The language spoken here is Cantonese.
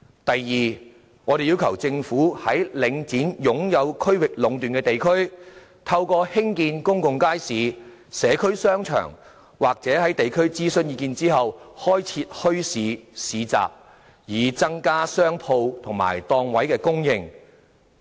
第二，我們要求政府在領展擁有區域壟斷的地區，透過興建公眾街市、社區商場，或在地區諮詢意見後，開設墟市/市集，增加商鋪及檔位供應。